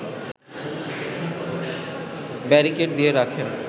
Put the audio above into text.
barricade দিয়ে রাখেন